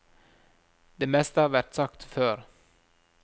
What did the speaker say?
Det meste har vært sagt før.